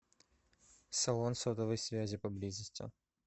салон сотовой связи поблизости